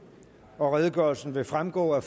og redegørelsen vil fremgå af